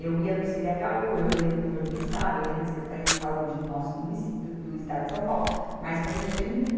Eu ia no cê dê agá u, eu ia no Governo do Estado, eu ia na Secretaria de Saúde do nosso munici, do, do Estado de São Paulo, mas para mexer num...